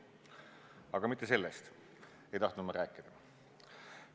Aga mitte sellest ei tahtnud ma rääkida.